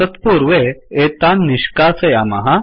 तत्पूर्वे एतान् निष्कासयामः